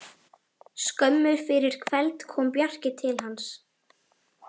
Skömmu fyrir kveld kom Bjarki til hans.